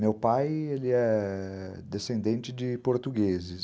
Meu pai ele é... descendente de portugueses.